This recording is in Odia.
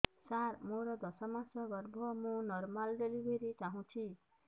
ସାର ମୋର ଦଶ ମାସ ଗର୍ଭ ମୁ ନର୍ମାଲ ଡେଲିଭରୀ ଚାହୁଁଛି